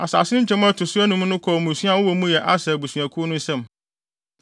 Asase no nkyemu a ɛto so anum no kɔɔ mmusua a wɔbɔ mu yɛ Aser abusuakuw no nsam.